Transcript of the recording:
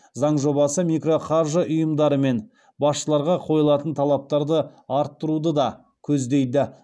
заң жобасы микроқаржы ұйымдары мен басшыларға қойылатын талаптарды арттыруды да көздейді